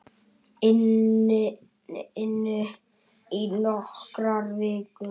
inu í nokkrar vikur.